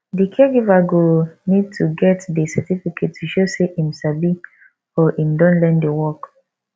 di caregiver go need to get di certificate to show sey im sabi or im don learn di work